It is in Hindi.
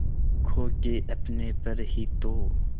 खो के अपने पर ही तो